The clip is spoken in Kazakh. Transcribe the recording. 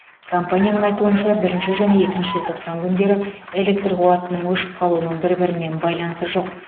компанияның айтуынша бірінші және екінші желтоқсан күндері электр қуатының өшіп қалуының бір бірімен байланысы жоқ